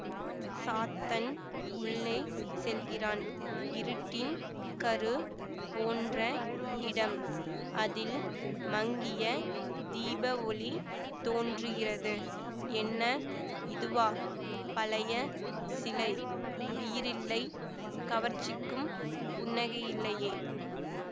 சாத்தன் உள்ளே செல்கிறான் இருட்டின் கரு போன்ற இடம் அதில் மங்கிய தீபவொளி தோன்றுகிறது என்ன இதுவா பழைய சிலை உயிரில்லை கவர்ச்சிக்கும் புன்னகையில்லையே